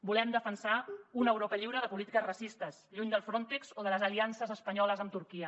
volem defensar una europa lliure de polítiques racistes lluny del frontex o de les aliances espanyoles amb turquia